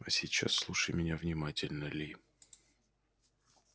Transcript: а сейчас слушай меня внимательно ли